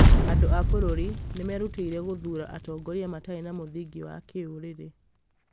andũ a bũrũri nĩ merutĩire gũthuura atongoria matarĩ na mũthingi wa kĩĩrũrĩrĩ